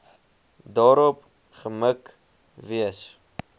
daarop gemik wees